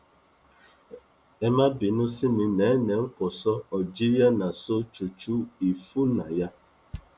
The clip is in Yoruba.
ẹ má bínú sí mi nene nkonzo algeria nàṣo chuchu ifunayà